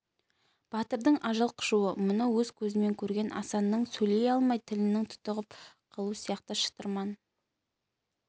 батырдың ажал құшуы мұны өз көзімен көрген асанның сөйлей алмай тілінің тұтығып қалуы сияқты шытырман